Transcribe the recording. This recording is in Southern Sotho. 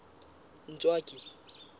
ntswaki